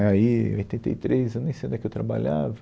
Aí, em oitenta e três, eu nem sei onde é que eu trabalhava,